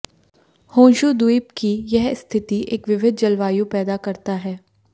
Honshu द्वीप की यह स्थिति एक विविध जलवायु पैदा करता है